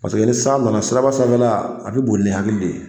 ni san nana siraba sanfɛla a bɛ boli hakili de ye